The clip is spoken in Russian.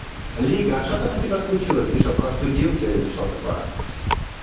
лига а что там у тебя случилось ты что простудился или что такое